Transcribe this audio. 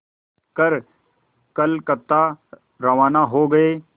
कर कलकत्ता रवाना हो गए